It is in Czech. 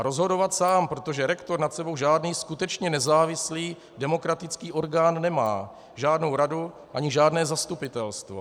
A rozhodovat sám, protože rektor nad sebou žádný skutečně nezávislý demokratický orgán nemá, žádnou radu ani žádné zastupitelstvo.